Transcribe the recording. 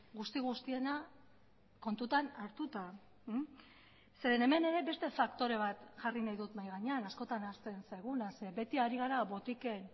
guzti guztiena kontutan hartuta zeren hemen ere beste faktore bat jarri nahi dut mahai gainean askotan ahazten zaiguna zeren beti ari gara botiken